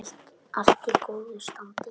Allt í góðu standi.